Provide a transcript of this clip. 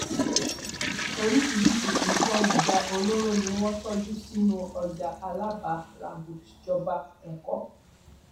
oríṣiríṣii nǹkan ìjà olóró ni wọn ń tọjú sínú ọjà alábà ràgọìjọba ẹkọ